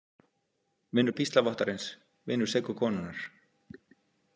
Vinur píslarvottarins, vinur seku konunnar.